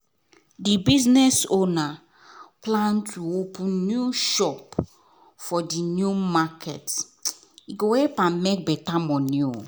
the business owner plan to open new shop for the new market go help am make better money